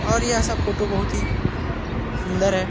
और यह सब फोटो बहुत ही सुंदर है।